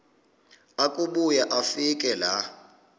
akubuya afike laa